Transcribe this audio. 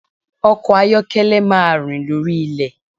Ọkọ̀ ayọ́kẹ́lẹ́ máa rìn lórí ilẹ̀.